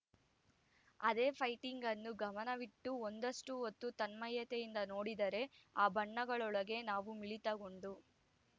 ಅದೇ ಪೈಂಟಿಂಗ್‌ ಅನ್ನು ಗಮನವಿಟ್ಟು ಒಂದಷ್ಟುಹೊತ್ತು ತನ್ಮಯತೆಯಿಂದ ನೋಡಿದರೆ ಆ ಬಣ್ಣಗಳೊಳಗೆ ನಾವೂ ಮಿಳಿತಗೊಂಡು